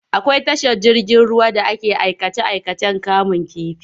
Akwai tashar ruwa da ake aikace-aikacen kamun kifi.